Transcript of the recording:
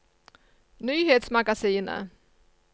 nyhetsmagasinet